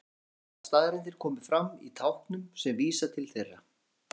Við skulum segja að staðreyndir komi fram í táknum sem vísa til þeirra.